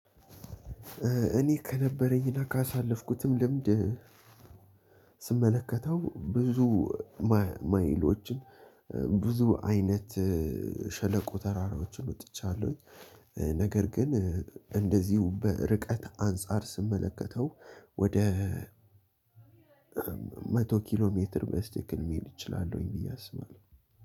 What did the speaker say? እኔ ከነበረኝና ካሳለፍኩትም ልምድ ስመለከተው ብዙ ማይሎችን ብዙ አይነት ሸለቆ ተራራዎችን ወጥቻለሁኝ ነገር ግን እንደዚሁ በርቀት አንፃር ስመለከተው። ወደ መቶ ኪሎ ሜትር በስቲክም መሄድ እችላለሁኝ ብዬ አስባለሁ።